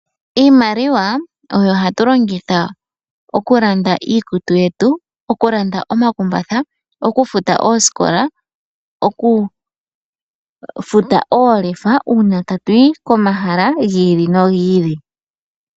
Iimaliwa oyo hatu longitha oku landa iikutu yetu, oku landa omakumbatha, okufuta oosikola, okufuta oolefa uuna tatu yi komahala gi ili nogi ili.